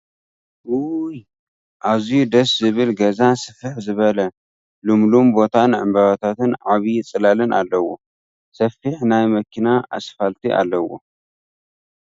እውይ ኣዚዩ ደስ ዝብል ገዛ ስፍሕ ዝበለ ልሙሉም ቦታን ዕምበባታትን ዐብይ ፅላልን ኣለዎ ፡ ሰፊሕ ናይ መኪና ኣስፋልቲ ኣለዎ ።